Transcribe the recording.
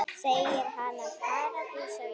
Segir hana paradís á jörð.